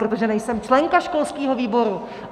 Protože nejsem členka školského výboru!